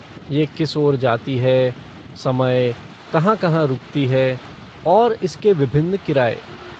यह किस ओर जाती है, समय, कहाँ कहाँ रुकती है और इसके विभिन्न किराए।